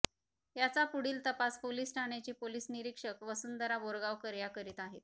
याचा पुढील तपास पोलीस ठाण्याचे पोलीस निरीक्षक वसुंधरा बोरगावकर या करीत आहेत